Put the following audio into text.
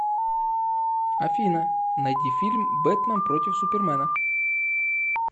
афина найди фильм бэтмэн против супермэна